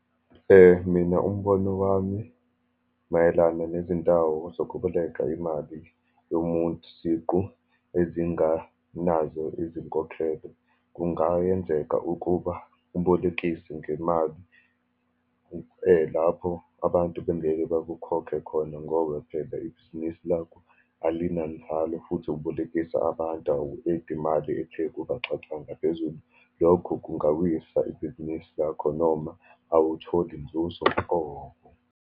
Mina umbono wami mayelana nezindawo zokuboleka imali yomuntu siqu ezinganazo izinkokhelo. Kungayenzeka ukuba ubolekise ngemali lapho abantu bengeke bakukhokhe khona, ngoba phela ibhizinisi lakho alinanzalo, futhi ubolekisa abantu, awu-edi imali ethe ukubaxaxa ngaphezulu. Lokho kungawisa ibhizinisi lakho, noma awutholi nzuzo nhlobo.